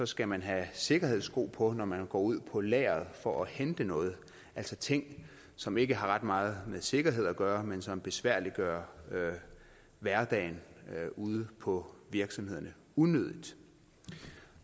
skal man have sikkerhedssko på når man går ud på lageret for at hente noget altså ting som ikke har ret meget med sikkerhed at gøre men som besværliggør hverdagen ude på virksomhederne unødigt